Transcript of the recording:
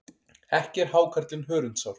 Ekki er hákarlinn hörundsár.